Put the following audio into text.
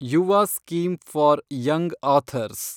Yuva scheme for young author's